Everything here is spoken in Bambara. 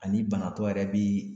Ani banatɔ yɛrɛ b'i